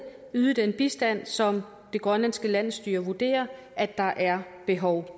og yde den bistand som det grønlandske landsstyre vurderer at der er behov